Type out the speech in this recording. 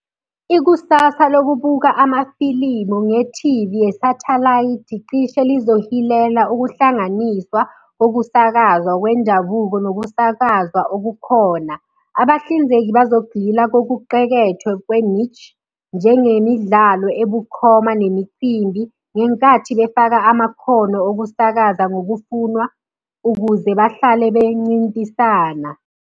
Ikusasa lokubuka amafilimu nge-T_V yesathalayithi cishe lizohilela ukuhlanganiswa ukusakazwa kwendabuko nokusakazwa okukhona. Abahlinzeki bazogxila kokuqekethwe kwe-niche, njengemidlalo ebukhoma nemicimbi ngenkathi befaka amakhono okusakaza ngokufunwa ukuze bahlale bencintisana.